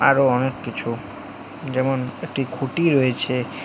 আরো অনেক কিছু যেমন একটি খুটি রয়েছে।